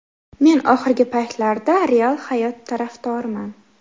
Men oxirgi paytlarda real hayot tarafdoriman.